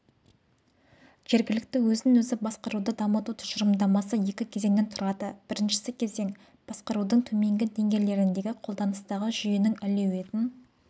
жергілікті өзін-өзі басқаруды дамыту тұжырымдамасы екі кезеңнен тұрады бірінші кезең басқарудың төменгі деңгейлеріндегі қолданыстағы жүйенің әлеуетін